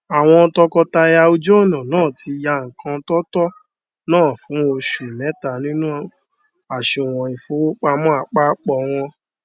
àwọn tọkọtaya ojú ọnà náà tí yá ńkan tó tó ná fún osu mẹta nínú àsùwọn ìfowópamọn àpápọ wọn